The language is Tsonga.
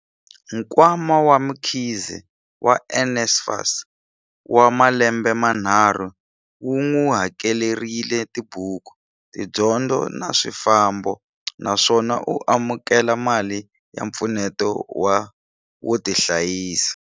Nkwama wa Mkhize wa NSFAS wa malembe manharhu wu n'wi hakelerile tibuku, tidyondzo na swifambo, naswona u amukele mali ya mpfuneto wo tihlayisa.